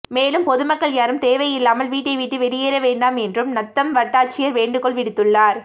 மேலும் பொதுமக்கள் யாரும் தேவையில்லாமல் வீட்டை விட்டு வெளியேற வேண்டாம் என்றும் நத்தம் வட்டாட்சியர் வேண்டுகோள் விடுத்துள்ளார்